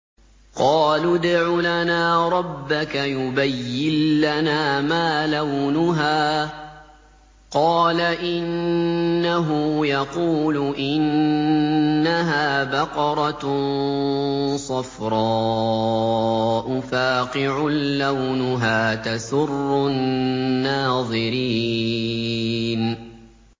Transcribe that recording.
قَالُوا ادْعُ لَنَا رَبَّكَ يُبَيِّن لَّنَا مَا لَوْنُهَا ۚ قَالَ إِنَّهُ يَقُولُ إِنَّهَا بَقَرَةٌ صَفْرَاءُ فَاقِعٌ لَّوْنُهَا تَسُرُّ النَّاظِرِينَ